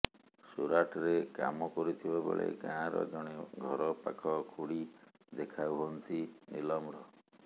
ସୁରାଟରେ କାମ କରୁଥିବା ବେଳେ ଗାଁ ର ଜଣେ ଘର ପାଖ ଖୁଡ଼ି ଦେଖା ହୁଅନ୍ତି ନୀଲମର